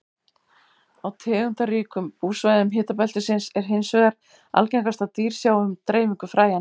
Á tegundaríkum búsvæðum hitabeltisins er hins vegar algengast að dýr sjái um dreifingu fræjanna.